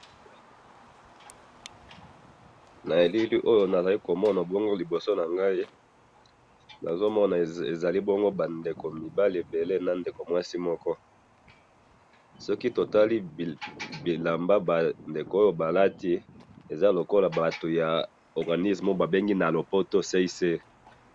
na bilili oyo nazali komona bongo liboso nangai nazomona ezali bongo ba ndeko mibale ebele na ndeko muasi moko soki totali bilamba ba ndeko oyo balati eza lokolo ya batu ya organism babengi na lopoto CICR